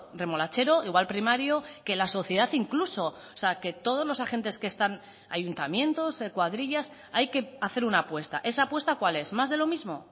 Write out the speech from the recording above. remolachero igual primario que la sociedad incluso o sea que todos los agentes que están ayuntamientos cuadrillas hay que hacer una apuesta esa apuesta cuál es más de lo mismo